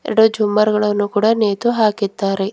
ಎಡ ಜುಮ್ಮಾರ್ ಗಳನ್ನು ಕೂಡ ನೇತು ಹಾಕಿದ್ದಾರೆ.